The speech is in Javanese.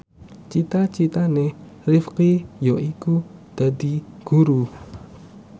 cita citane Rifqi yaiku dadi guru